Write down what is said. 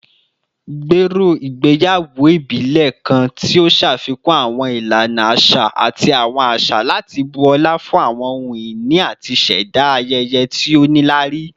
Gbero igbeyawo ibile kan ti o ṣafikun awọn ilana aṣa ati awọn aṣa lati bu ọla fun ohun-ini ati ṣẹda ayẹyẹ ti o nilari